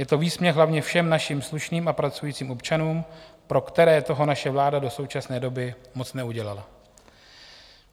Je to výsměch hlavně všem našim slušným a pracujícím občanům, pro které toho naše vláda do současné doby moc neudělala.